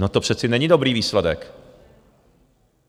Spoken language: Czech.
No to přece není dobrý výsledek.